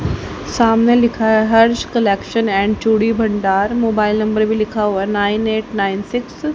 सामने लिखा है हर्ष कलेक्शन एंड चूड़ी भंडार मोबाइल नंबर भी लिखा हुआ है नाइन एट नाइन सिक्स --